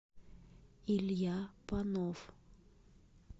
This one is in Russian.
илья панов